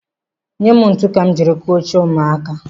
Nye m ntụ ka m jiri kụzie oche ụmụaka.